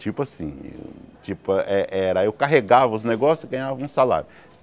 Tipo assim... Tipo é era... Eu carregava os negócios e ganhava um salário.